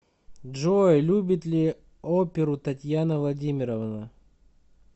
джой любит ли оперу татьяна владимировна